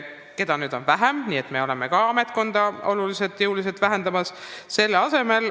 Asekantslereid on vähem, nii et me oleme ka ametnikkonda oluliselt vähendamas.